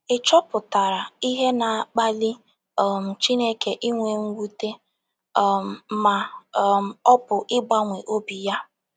Ị̀ chọpụtara ihe na - akpali um Chineke inwe mwute, um ma um ọ bụ ịgbanwe obi ya?